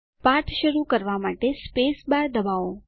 પાઠ શરૂ કરવા માટે સ્પેસબાર દબાવો